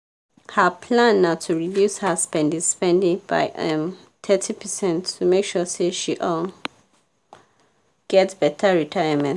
her plan na to reduce her spendi-spendi by um thirty percent to make sure say she um get better retayament.